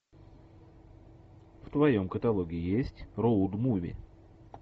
в твоем каталоге есть роуд муви